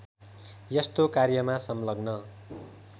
यस्तो कार्यमा संलग्न